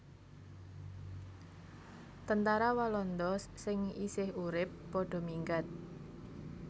Tentara Walanda sing isih urip padha minggat